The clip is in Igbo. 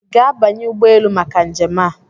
Ị ga-abanye ụgbọ elu maka njem a?